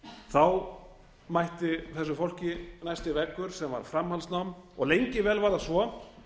þá mætti þessu fólki næsti veggur sem var framhaldsnám og lengi vel var það svo